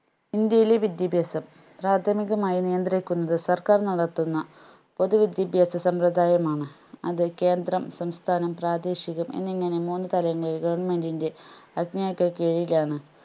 ഇന്ത്യയിലെ വിദ്യാഭ്യാസം പ്രാഥമികമായി നിയന്ദ്രിക്കുന്നത് സർക്കാർ നടത്തുന്ന പൊതുവിദ്യാഭ്യാസ സമ്പ്രദായമാണ് അത് കേന്ദ്രം സംസ്ഥാനം പ്രാദേശികം എന്നിങ്ങനെ മൂന്നുതലങ്ങളിൽ government ൻറെ കീഴിലാണ്